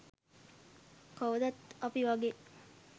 කවදත් අපි වගේ